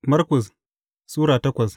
Markus Sura takwas